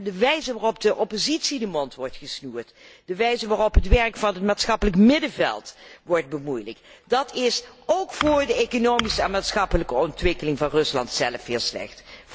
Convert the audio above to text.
De wijze waarop de oppositie de mond wordt gesnoerd, de wijze waarop het werk van het maatschappelijk middenveld wordt bemoeilijkt, is ook voor de economische en maatschappelijke ontwikkeling van Rusland zelf heel slecht.